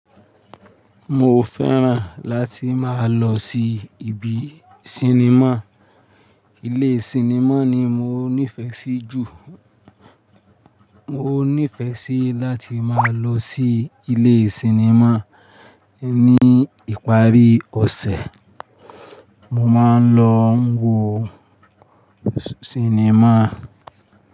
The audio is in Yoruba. Mo fẹ́ràn láti máa lọ sí ibi sinimá. Ilé sinimá ni mo nífẹsí jù. Mo nífẹ́ sí láti máa lọ sí ilé sinimá. Ni ìparí ọ̀sẹ̀, mo máa ń lọ ń wo sinimá.